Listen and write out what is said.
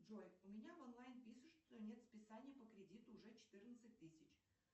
джой у меня в онлайн пишут что нет списания по кредиту уже четырнадцать тысяч